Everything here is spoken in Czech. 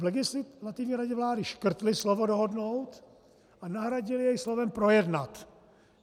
V Legislativní radě vlády škrtli slovo dohodnout a nahradili je slovem projednat.